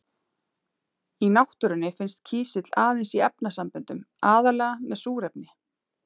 Í náttúrunni finnst kísill aðeins í efnasamböndum, aðallega með súrefni.